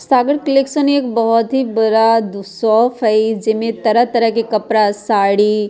सागर collection एक बहुत ही बड़ा दू शॉप है जे मे तरह-तरह के कपड़ा साड़ी --